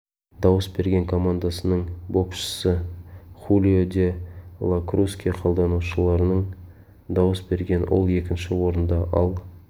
дауыс берген командасының боксшысы хулио де ла круске қалданушылардың дауыс берген ол екінші орында ал